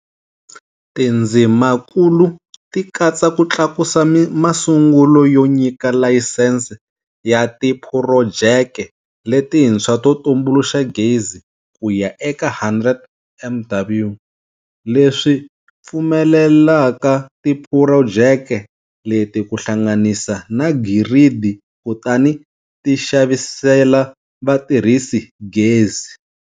Tindzimakulu ti katsa ku tlakusa masungulo yo nyika layisense ya tiphurojeke letintshwa to tumbuluxa gezi kuya eka 100MW, leswi pfu melelaka tiphurojeke leti ku hlanganisa na giridi kutani ti xavisela vatirhisi gezi.